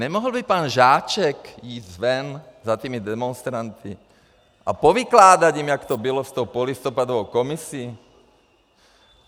Nemohl by pan Žáček jít ven za tymi demonstranty a povykládať jim, jak to bylo s tou polistopadovou komisí?